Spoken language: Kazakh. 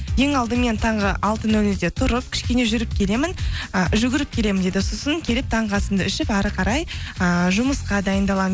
ең алдымен таңғы алты нөл нөлде тұрып кішкене і жүгіріп келемін дейді сосын келіп таңғы асымды ішіп әрі қарай ыыы жұмысқа дайындаламын